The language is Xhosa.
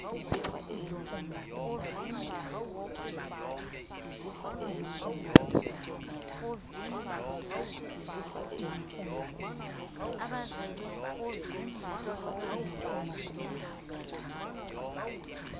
abazelwe ngumhlolokazi nendoda